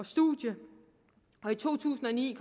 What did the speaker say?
studie og i to tusind og ni